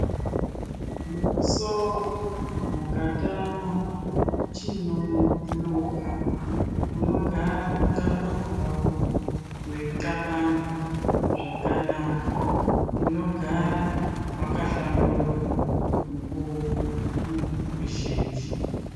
Mumusoro mukatama chinomuhlupa unogara muxabango wako weixabanga zvakanaka, unogara wakahlamburuka mukuwo muzhinji.